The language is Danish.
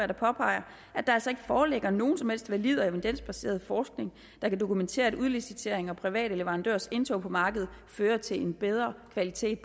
der påpeger at der altså ikke foreligger nogen som helst valid og evidensbaseret forskning der kan dokumentere at udlicitering og private leverandørers indtog på markedet fører til en bedre kvalitet